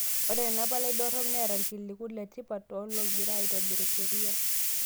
Ore ena palai dorrop neeta irkiliku letipat toologira aitiborr sheria.